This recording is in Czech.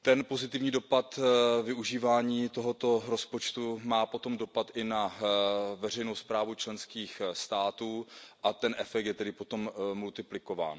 Pozitivní dopad využívání tohoto rozpočtu má potom dopad i na veřejnou správu členských států a ten efekt je tedy potom multiplikován.